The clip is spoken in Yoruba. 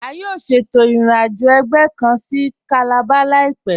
A yóò ṣétò ìrìn-àjọ̀ ẹgbẹ̀ kàn sí Calabar láìpẹ̀.